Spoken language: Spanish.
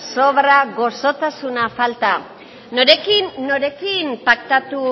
sobra goxotasuna falta norekin paktatu